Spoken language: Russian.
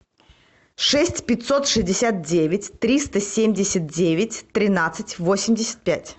шесть пятьсот шестьдесят девять триста семьдесят девять тринадцать восемьдесят пять